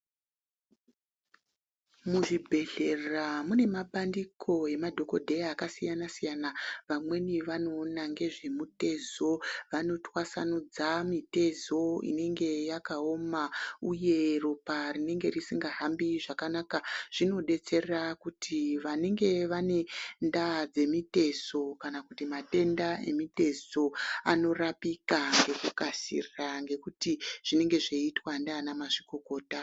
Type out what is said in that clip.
Muzvibhedhlera mune mabandiko emadhokodheya akasiyana siyana. Vamweni vanoona ngezvemitezo, vanotwasanudza mitezo inenge yakaoma uye ropa rinenge risingahambi zvakanaka. Zvinodetsera kuti vanenge vane ndaa dzemitezo kana kuti matenda emitezo anorapika ngekukasira ngekuti zvinenge zvechiitwa ngavanamazvikokota.